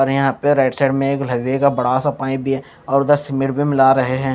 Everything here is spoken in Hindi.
अरे यहां पे राइट साइड में एक लोहे का बड़ा सा पाइप और उधर सीमेंट भी मिला रहे हैं।